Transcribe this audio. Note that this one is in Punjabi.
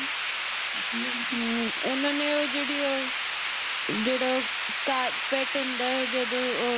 ਓਹਨੇ ਨੇ ਓਹ ਜੇਹੜੀ ਓਹ ਜੇਹੜਾ ਓਹ Carpet ਹੁੰਦਾ ਹੈ ਜਦੋ ਉਹ